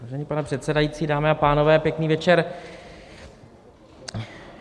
Vážený pane předsedající, dámy a pánové, pěkný večer.